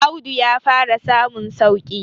Audu ya fara samun sauki